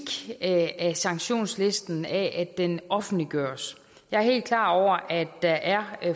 af sanktionslisten til at den offentliggøres jeg er helt klar over at der er